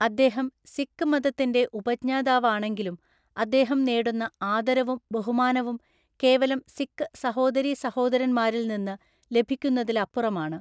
അദ്ദേഹം സിക്ക് മതത്തിന്റെ ഉപജ്ഞാതാവാണെങ്കിലും അദ്ദേഹം നേടുന്നആദരവും ബഹുമാനവും കേവലം സിക്ക് സഹോദരി സഹോദരന്മാരില്‍ നിന്ന് ലഭിക്കുന്നതിലപ്പുറമാണ്.